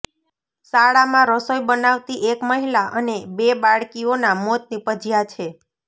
શાળામાં રસોઈ બનાવતી એક મહિલા અને બે બાળકીઓના મોત નિપજ્યા છે